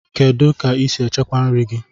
Kedụ ka I si echekwa nri gị?